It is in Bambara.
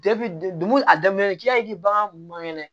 a daminɛ k'i hakili man kɛnɛ